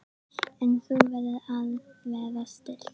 En þú verður að vera stillt.